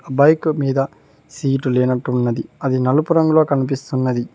Bike మీద seat లేనట్టు ఉన్నది అది నలుపు రంగులో కనిపిస్తున్నది.